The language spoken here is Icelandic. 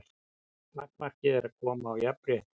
Takmarkið er að koma á jafnrétti.